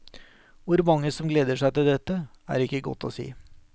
Hvor mange som gleder seg til dette, er ikke godt å si.